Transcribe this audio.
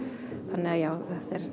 þannig já